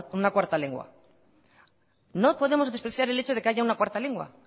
una cuarta lengua no podemos despreciar el hecho de que haya una cuarta lengua